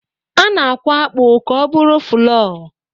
A na-akwọ akpụ ka ọ bụrụ fụlọr.